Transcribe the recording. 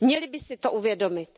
Měli by si to uvědomit.